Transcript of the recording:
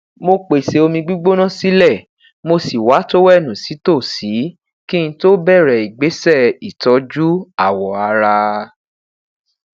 mo pese omi gbigbona silẹ mo si wa towẹẹnu si tosi ki n to bẹrẹ igbesẹ itọju awọ ara